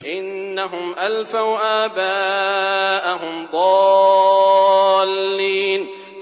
إِنَّهُمْ أَلْفَوْا آبَاءَهُمْ ضَالِّينَ